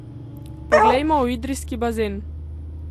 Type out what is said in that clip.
Poglejmo v idrijski bazen.